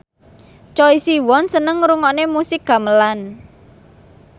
Choi Siwon seneng ngrungokne musik gamelan